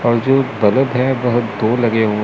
और जो बल्ब है बहोत दो लगे हुए।